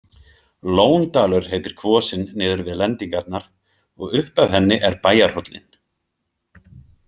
Lóndalur heitir kvosin niður við lendingarnar og upp af henni er bæjarhóllinn.